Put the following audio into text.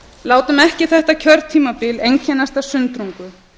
látum ekki þetta kjörtímabil einkennast af sundrungu